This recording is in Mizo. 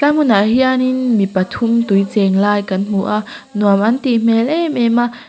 tlai hmunah hianin mi pathum tui cheng lai kan hmu a nuam an tih hmel em em a.